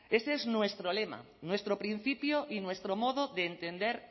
ese es nuestro lema nuestro principio y nuestro modo de entender